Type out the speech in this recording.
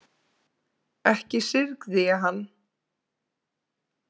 Ekki syrgði ég hann.